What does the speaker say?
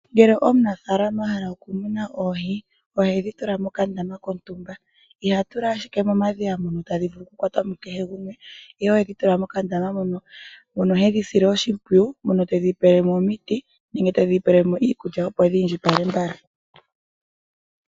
Ngele omunafaalama a hala oku muna oohi ohedhi tula mokandama kontumba, iha tula ashike momadhiya mono tadhi vulu oku kwatwamo ku kehe gumwe, ihe ohedhi tula mokandama mono hedhi sile oshimpwiyu mono tedhi pelemo omiti nenge tedhi pele mo iikulya opo dhi indjipale mbala.